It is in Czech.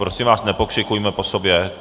Prosím vás, nepokřikujme po sobě.